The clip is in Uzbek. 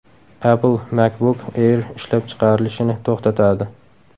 Apple MacBook Air ishlab chiqarilishini to‘xtatadi.